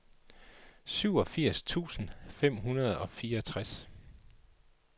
syvogfirs tusind fem hundrede og fireogtres